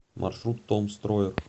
маршрут том строер